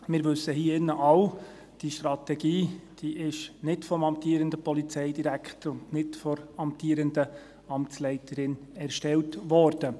Wir alle hier im Grossen Rat wissen, dass die Strategie nicht vom amtierenden Polizeidirektor und nicht von der amtierenden Amtsleiterin erstellt wurde.